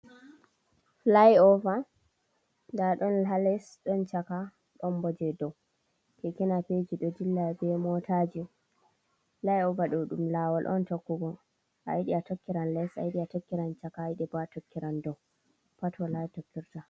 Fulai’ova nda ɗom hales, ɗon chaka ɗon bo je dow. Kekinapeji ɗo dilla be motaji, fulaiova ɗo ɗum lawol on tokkugo, a yidi a tokkiran les, a yiɗi a tokkiran chaka, ayiɗi a tokkiran dow pat wala tokkirta.